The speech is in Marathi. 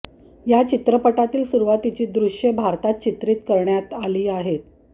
या चित्रपटातील सुरुवातीची दृश्ये भारतात चित्रीत करण्यात आली आहेत